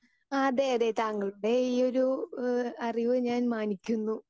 Speaker 2 ആ അതെ അതെ താങ്കളുടെ ഈ ഒരു ഏഹ് അറിവ് ഞാൻ മാനിക്കുന്നു.